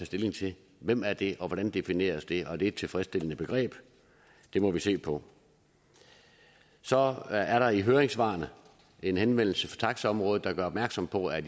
stilling til hvem er det og hvordan defineres det og er det et tilfredsstillende begreb det må vi se på så er der i høringssvarene en henvendelse fra taxaområdet der gør opmærksom på at